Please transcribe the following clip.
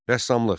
Rəssamlıq.